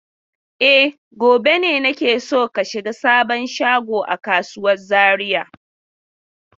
E, gobe ne nake so ka shiga sabon shagon a kasuwar Zariya?